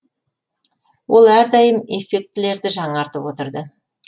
ол әрдайым эффектілерді жаңартып отырды